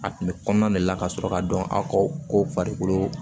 A kun bɛ kɔnɔna de la ka sɔrɔ ka dɔn a ka ko farikolo